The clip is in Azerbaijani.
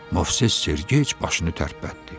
Movses Sergeyc başını tərpətdi.